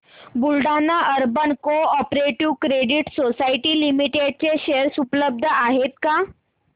Buldhana urban cooperative credit society limited चे share उपलब्ध आहेत का